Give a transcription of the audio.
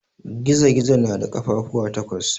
Gizo-gizo na da kafafuwa takwas.